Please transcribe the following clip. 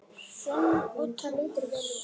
Hrönn og Tómas.